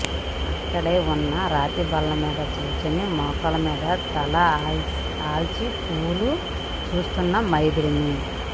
అక్కడే వున్న రాతి బల్ల మీద కూర్చుని మోకాళ్ళ మీద తల ఆన్చి పూలు చూస్తున్న మైథిలి ని